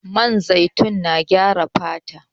Man zaitun na gyara fata